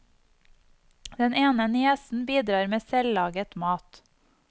Den ene niesen bidrar med selvlaget mat.